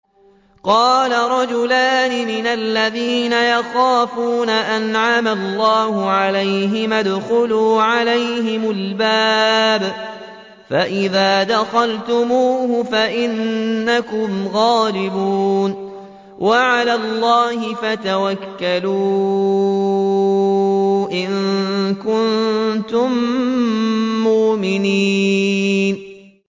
قَالَ رَجُلَانِ مِنَ الَّذِينَ يَخَافُونَ أَنْعَمَ اللَّهُ عَلَيْهِمَا ادْخُلُوا عَلَيْهِمُ الْبَابَ فَإِذَا دَخَلْتُمُوهُ فَإِنَّكُمْ غَالِبُونَ ۚ وَعَلَى اللَّهِ فَتَوَكَّلُوا إِن كُنتُم مُّؤْمِنِينَ